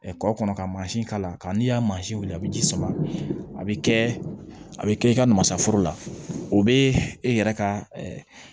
Kɔ kɔnɔ ka mansin k'a la ka n'i y'a wili a be ji sama a be kɛ a be kɛ i ka namasaforo la o be e yɛrɛ ka